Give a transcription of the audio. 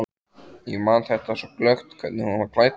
Ég man þetta svo glöggt, hvernig hún var klædd.